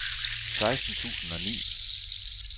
seksten tusind og ni